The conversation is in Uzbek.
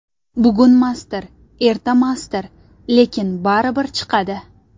Bugunmasdir, ertamasdir, lekin baribir chiqadi.